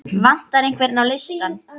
Vantar einhvern á listann?